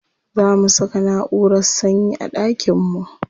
Za mu saka naʼurar sanyi a ɗakin mu.